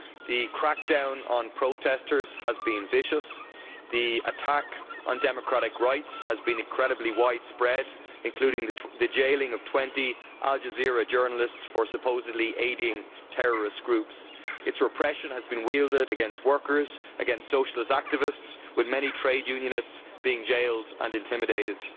The crackdown on protestors has been vicious and the attack on democratic rights has been incredibly widespread, including the jailing of 20 Al Jazeera journalists for supposedly aiding terrorist groups. Its repression has been wielded against workers and socialist activists, with many trade unionists being jailed and intimidated.